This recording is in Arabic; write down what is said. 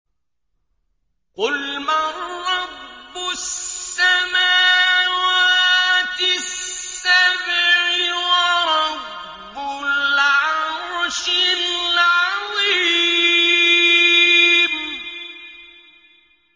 قُلْ مَن رَّبُّ السَّمَاوَاتِ السَّبْعِ وَرَبُّ الْعَرْشِ الْعَظِيمِ